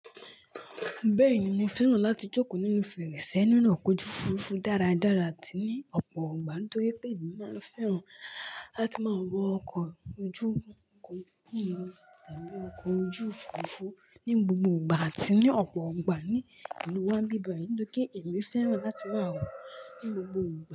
Bẹ́ẹ̀ni mo fẹ́ràn láti jókòó nínú fèrèsé nínú ọkọ̀ ojú òfuurufú dáradára àti ní ọ̀pọ̀ ìgbà nítorí pé èmi máa fẹ́ràn láti máa wọ ọkọ̀ ojú òfuurufú nínú gbogbo ìgbà àti ní ọ̀pọ̀ ìgbà ní ìlú wa bíbayi nítorí pé èmi fẹ́ràn láti máa wọ̀ ní gbogbo ìgbà.